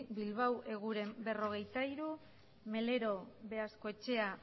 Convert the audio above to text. bilbao eguren berrogeita hiru melero beaskoetxea